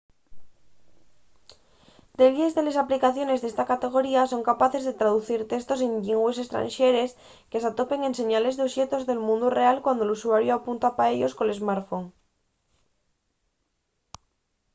delles de les aplicaciones d’esta categoría son capaces de traducir testos en llingües estranxeres que s’atopen en señales o oxetos del mundu real cuando l’usuariu apunta pa ellos col smartphone